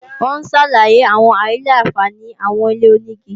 Ó ń ṣàlàyé àwọn àìlà-àǹfààní àwọn ilé-onígi